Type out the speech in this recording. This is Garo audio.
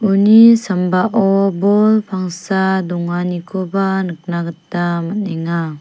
uni sambao bol pangsa donganikoba nikna gita man·enga.